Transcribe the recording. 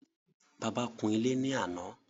Bàbá kún ilé ní àná